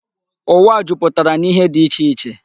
Ụwa a jupụtara n'ihe dị iche iche.